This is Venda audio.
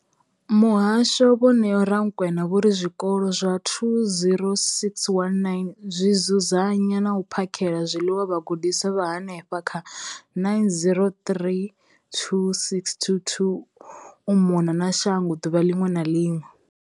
Muhasho, vho Neo Rakwena, vho ri zwikolo zwa 20 619 zwi dzudzanya na u phakhela zwiḽiwa vhagudiswa vha henefha kha 9 032 622 u mona na shango ḓuvha ḽiṅwe na ḽiṅwe.